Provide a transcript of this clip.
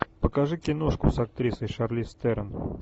покажи киношку с актрисой шарлиз терон